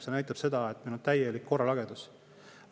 See näitab seda, et meil on täielik korralagedus.